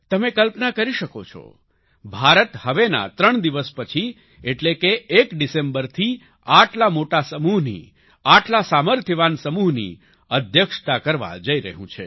તમે કલ્પના કરી શકો છો ભારત હવેના ત્રણ દિવસ પછી એટલે કે 1 ડિસેમ્બરથી આટલા મોટા સમૂહની આટલા સામર્થ્યવાન સમૂહની અધ્યક્ષતા કરવા જઈ રહ્યું છે